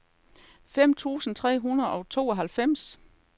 fem tusind tre hundrede og tooghalvfems